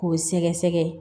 K'o sɛgɛsɛgɛ